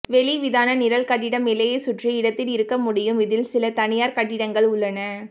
வெளிவிதானநிரல் கட்டிடம் எல்லையைச் சுற்றி இடத்தில் இருக்க முடியும் இதில் சில தனியார் கட்டிடங்கள் உள்ளன